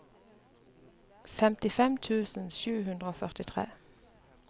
femtifem tusen sju hundre og førtitre